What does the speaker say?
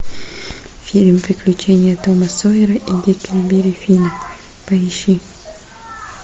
фильм приключения тома сойера и гекльберри финна поищи